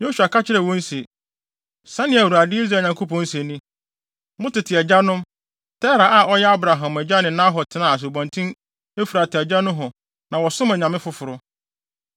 Yosua ka kyerɛɛ wɔn se, “Sɛnea Awurade, Israel Nyankopɔn se ni: Mo tete agyanom, Tera a ɔyɛ Abraham agya ne Nahor tenaa Asubɔnten Efrate agya nohɔ na wɔsom anyame foforo.